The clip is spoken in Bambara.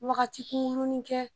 wagati kunkurinin kɛ.